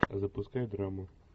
запускай драму